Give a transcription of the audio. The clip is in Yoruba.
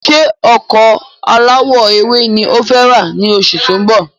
Ṣé ọkọ̀ alawọ ewé ni ọ fẹ ra ni oṣù tó ń bọ̀?